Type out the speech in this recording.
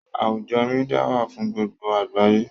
Àwùjọ Mídíà wà fún gbogbo àgbáyé